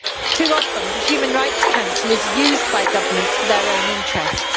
Too often, the Human Rights Council is used by governments for their own interests.